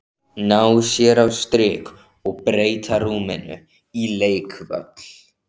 Ná sér á strik og breyta rúminu í leikvöll.